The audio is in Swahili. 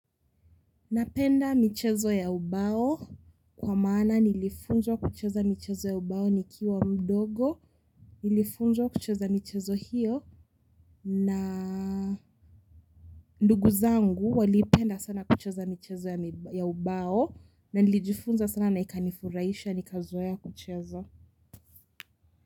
Napenda michezo ya ubao kwa maana nilifunzwa kucheza michezo ya ubao nikiwa mdogo. Nilifunzwa kucheza michezo hiyo na ndugu zangu walipenda sana kucheza michezo ya ubao na nilijifunza sana na ikanifurahisha nikazoea kucheza.